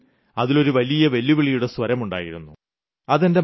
ഒരുതരത്തിൽ അതിലൊരു വെല്ലുവിളിയുടെ സ്വരമുണ്ടായിരുന്നു